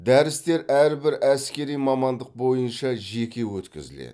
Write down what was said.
дәрістер әрбір әскери мамандық бойынша жеке өткізіледі